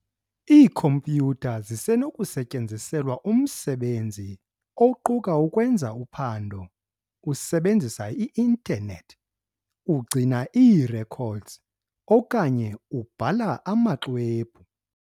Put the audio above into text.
Iikhompyutha zisenokusetyenziselwa umsebenzi, oquka ukwenza uphando usebenzisa i-internet, ugcina ii-records, okanye ubhala amaxwebhu.